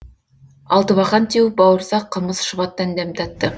алтыбақан теуіп бауырсақ қымыз шұбаттан дәм татты